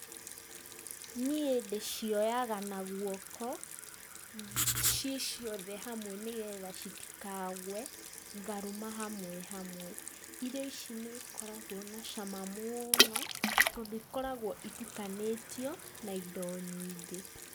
Niĩ ndĩcioyaga na guoko, ciĩ ciothe hamwe nĩgetha citikagwe, ngarũma hamwe hamwe, irio ici nĩ ikoragwo na cama mũno, tondũ ikoragwo itukanĩtio na indo nyingĩ.